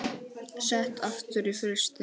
Sett aftur í frysti.